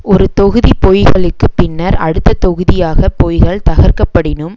ஒரு தொகுதி பொய்களுக்குப் பின்னர் அடுத்த தொகுதியாக பொய்கள் தகர்க்கப்படினும்